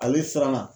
Ale siranna